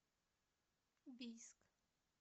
бийск